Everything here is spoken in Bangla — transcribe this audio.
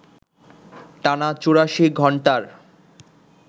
টানা ৮৪ ঘণ্টার